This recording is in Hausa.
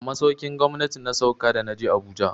A masaukin gwamnati na sauka da na je Abuja.